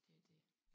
Det er det